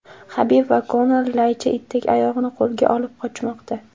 Habib va Konor laycha itdek oyog‘ini qo‘lga olib qochmoqda.